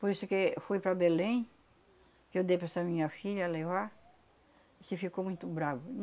Por isso que eu fui para Belém, que eu dei para essa minha filha levar, e se ficou muito bravo.